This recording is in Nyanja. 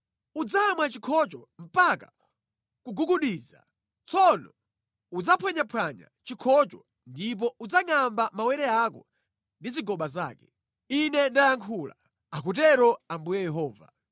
Udzamwa chikhocho mpaka kugugudiza. Tsono udzaphwanyaphwanya chikhocho ndipo udzangʼamba mawere ako ndi zigoba zake. Ine ndayankhula, akutero Ambuye Yehova.